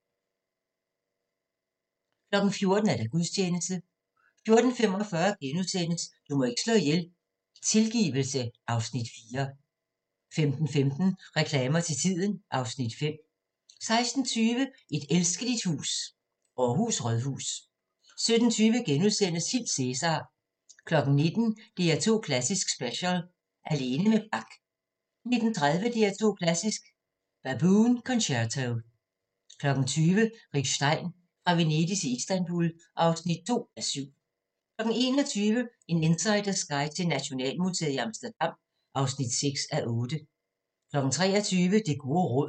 14:00: Gudstjeneste 14:45: Du må ikke slå ihjel – Tilgivelse (Afs. 4)* 15:15: Reklamer til tiden (Afs. 5) 16:20: Et elskeligt hus – Aarhus Rådhus 17:20: Hil Cæsar! * 19:00: DR2 Klassisk special: Alene med Bach 19:30: DR2 Klassisk: Baboon Concerto 20:00: Rick Stein: Fra Venedig til Istanbul (2:7) 21:00: En insiders guide til Nationalmuseet i Amsterdam (6:8) 23:00: Det gode råd